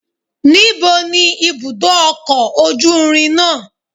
Níbo ni ibùdó ọkọ̀ ojú irin náà?